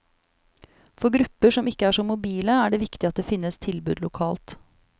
For grupper som ikke er så mobile er det viktig at det finnes tilbud lokalt.